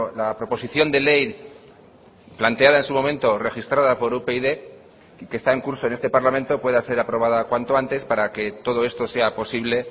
la proposición de ley planteada en su momento registrada por upyd y que está en curso en este parlamento pueda ser aprobada cuanto antes para que todo esto sea posible